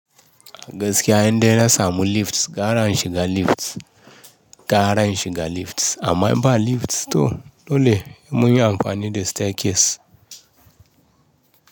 Gaskiya inde na samu lift, gara in shiga lift, gara in shiga lift. Amma imba lift to dole hemun yi amfani da staircase.